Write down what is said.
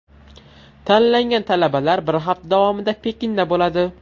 Tanlangan talabalar bir hafta davomida Pekinda bo‘ladi.